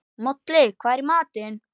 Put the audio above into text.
Moli, hvað er í matinn?